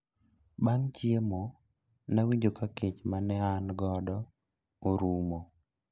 bang' chiemo, nawinjo ka kech mane an godo orumo